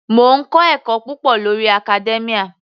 Mò ń kọ́ ẹ̀kọ́ púpọ̀ lórí academia.